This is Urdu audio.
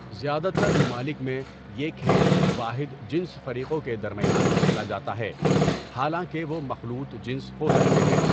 زیادہ تر ممالک میں، یہ کھیل واحد جنس فریقوں کے درمیان کھیلا جاتا ہے، حالانکہ وہ مخلوط جنس ہو سکتے ہیں.